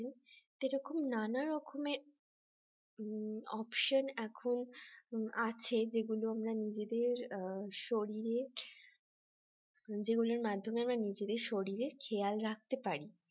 এরকম নানা রকমের হম option এখন আছে যেগুলো আমরা নিজেদের শরীরের যেগুলোর মাধ্যমে আমরা নিজেদের শরীরের খেয়াল রাখতে পারি